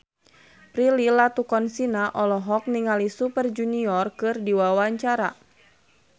Prilly Latuconsina olohok ningali Super Junior keur diwawancara